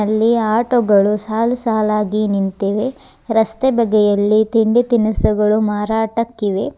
ಅಲ್ಲಿ ಆಟೋ ಗಳು ಸಾಲು ಸಾಲಾಗಿ ನಿಂತಿವೆ ರಸ್ತೆ ಬದಿಯಲ್ಲಿ ತಿಂಡಿ ತಿನಿಸುಗಳು ಮಾರಾಟಕ್ಕಿವೆ.